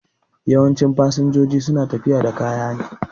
Yawancin fasinjoji su na tafiya da kaya